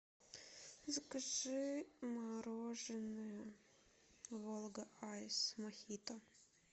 закажи мороженое волга айс мохито